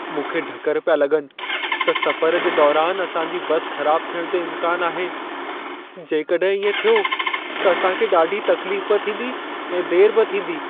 मूंखे ढकर पिया लॻनि त सफ़र जे दौरान असां जी बस ख़राब थियण जो इम्कान आहे। जेकॾहिं इएं थियो त असां खे ॾाढी तकलीफ़ बि थींदी ऐं देरि बि थींदी।